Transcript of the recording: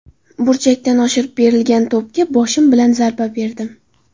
Burchakdan oshirib berilgan to‘pga boshim bilan zarba berdim.